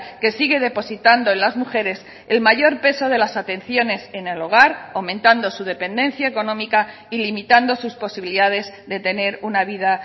que sigue depositando en las mujeres el mayor peso de las atenciones en el hogar aumentando su dependencia económica y limitando sus posibilidades de tener una vida